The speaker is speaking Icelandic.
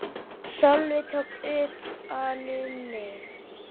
Sölvi tók utan um mig.